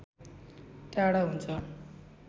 टाढा हुन्छ